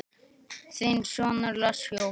Þinn sonur, Lars Jóhann.